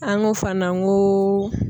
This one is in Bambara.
An ko fana n ko